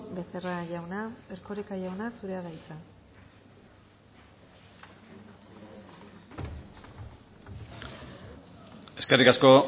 becerra jauna erkoreka jauna zurea da hitza eskerrik asko